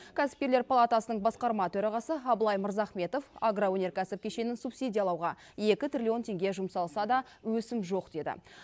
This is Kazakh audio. кәсіпкерлер палатасының басқарма төрағасы абылай мырзахметов агроөнеркәсіп кешенін субсидиялауға екі триллион теңге жұмсалса да өсім жоқ деді